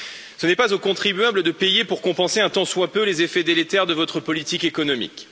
Ce n'est pas aux contribuables de payer pour compenser un tant soit peu les effets délétères de votre politique économique.